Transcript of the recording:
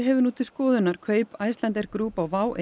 hefur nú til skoðunar kaup Icelandair Group á WOW